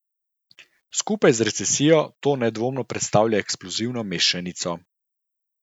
Skupaj z recesijo to nedvomno predstavlja eksplozivno mešanico.